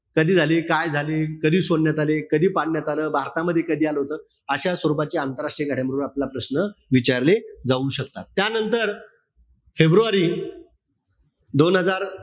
कधी झाली, काय झाली, कधी सोडण्यात आली, कधी पाडण्यात आलं, भारतामध्ये कधी आलं होत, अशा स्वरूपाची आंतरराष्ट्रीय घडामोडी वर आपल्याला प्रश्न विचारले जाऊ शकतात. त्यानंतर, फेब्रुवारी दोन हजार,